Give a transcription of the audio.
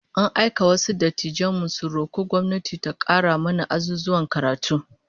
An aika wasu dattijan mu su roko gwamnati ta kara mana azuzuwan karatu